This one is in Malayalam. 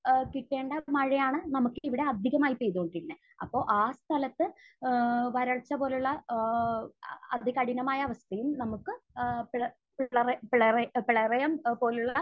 ഏഹ് കിട്ടേണ്ട മഴയാണ് നമുക്ക് ഇവിടെ അധികമായി പെയ്തുകൊണ്ടിരുന്നത്. അപ്പോൾ ആ സ്ഥലത്ത് ഏഹ് വരൾച്ച പോലുള്ള ഏഹ് അതികഠിനമായ അവസ്ഥയും നമുക്ക് പ്ല...പ്ലറ...പ്ലറ...പ്ലറയം പോലുള്ള